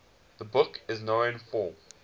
the book is known for